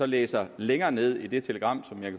læser længere nede i det telegram som jeg